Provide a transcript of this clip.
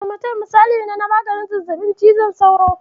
Amatem misali ne na maganin zazzaɓin cizon sauro.